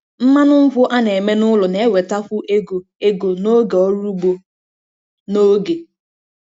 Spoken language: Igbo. Mmanụ nkwụ a na-eme n'ụlọ na-ewetakwu ego ego n'oge ọrụ ugbo n'oge.